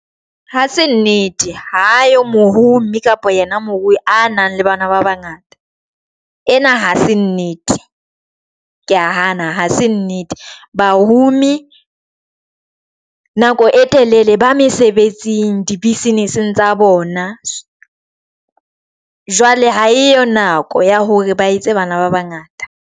Ha se nnete ha yo mohumi kapa yena morui a nang le bana ba bangata ena hase nnete, kea hana hase nnete bahumi e nako e telele ba mesebetsing di business tsa bona, jwale ha eyo nako ya hore ba etse bana ba bangata.